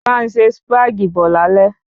Bá n se Sípàgì bo lálé